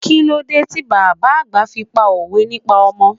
Kílódé ti bàbá àgbà fi pá òwe nípa ọmọ?